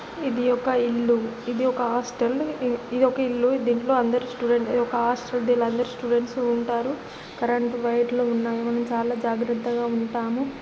ఇధి ఒక ఇల్లు ఇధి ఒక హాస్టల్ ఇధి ఒక ఇల్లు దింటిలో అందరూ స్టూడెంట్స్ ఒక హాస్టల్ దీనిలో అందరూ స్టూడెంట్స్ ఉంటారు కరెంట్ వయర్లు ఉన్నాయి చాలా జాగ్రతాంగా ఉంటాము.